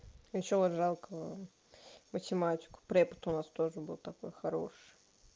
ещё вот жалко математику препод у нас тоже был такой хороший